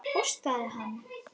Hóstaði hann?